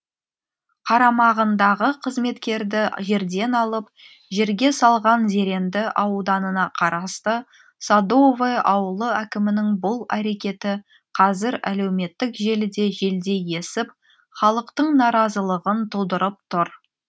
қарамағындағы қызметкерді жерден алып жерге салған зеренді ауданына қарасты садовое ауылы әкімінің бұл әрекеті қазір әлеуметтік желіде желдей есіп халықтың наразылығын тудырып тұр